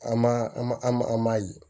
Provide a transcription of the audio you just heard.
An ma an ma an ma an ma ye